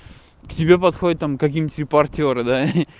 к тебе подходят там какие-нибудь репортёры да